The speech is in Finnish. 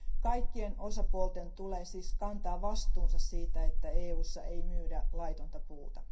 Kaikkien osapuolten tulee siis kantaa vastuunsa siitä, että EUssa ei myydä laitonta puuta.